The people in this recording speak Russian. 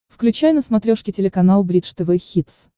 включай на смотрешке телеканал бридж тв хитс